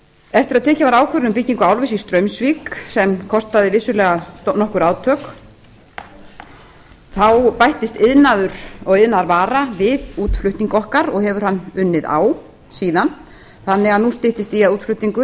eftir að tekin var ákvörðun um byggingu álvers í straumsvík sem kostaði vissulega nokkur átök þá bættist iðnaður og iðnaðarvara við útflutning okkar og hefur hann unnið á síðan þannig að nú styttist í að útflutningur á